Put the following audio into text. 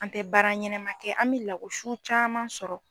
An tɛ baara ɲɛnɛma kɛ an bɛ lago si caman sɔrɔ